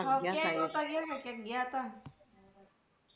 ક્યાંક ગયા તા